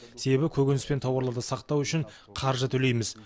себебі көкөніс пен тауарларды сақтау үшін қаржы төлейміз